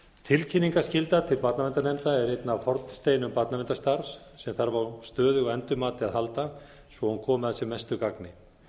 tilkynningarskylda til barnaverndarnefndar er einn af hornsteinum barnaverndarstarfs sem þarf á stöðugu endurmati að halda svo hún komi að sem mestu gagni